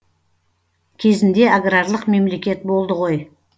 кезінде аграрлық мемлекет болды ғой